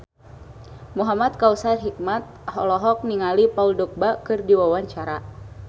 Muhamad Kautsar Hikmat olohok ningali Paul Dogba keur diwawancara